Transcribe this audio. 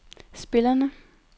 spillerne